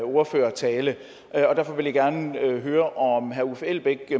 ordførertale derfor vil jeg gerne høre om herre uffe elbæk